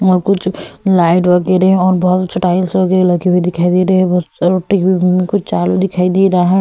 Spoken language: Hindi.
और कुछ लाइट वगैरह और बहुत स्टाइल्स वगैरह लगे हुए दिखाई दे रहे हैं रोटी हुई कुछ आलू दिखाई दे रहा है।